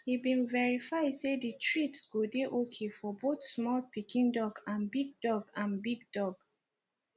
he been verify say the treats go dey okay for both small pikin dog and big dog and big dog